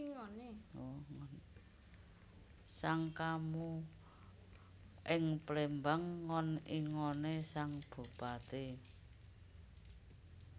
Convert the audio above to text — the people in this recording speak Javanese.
Sangkamu ing Plémbang ngon ingoné sang Bupati